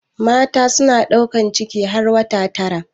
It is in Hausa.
Mata suna ɗaukar ciki har wata tara.